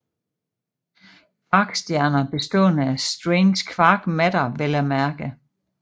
Kvarkstjerner bestående af strange quark matter vel at mærke